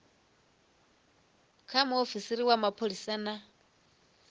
kha muofisiri wa mapholisa na